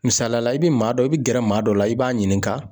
Misaliyala ,i bɛ maa dɔ, i bɛ gɛrɛ maa dɔ la, i b'a ɲininka.